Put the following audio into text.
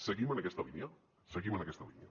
seguim en aquesta línia seguim en aquesta línia